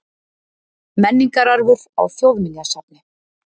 Menningararfur á Þjóðminjasafni.